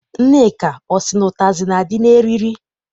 Nneka ọ sị na ụtazị na- adị n'eriri?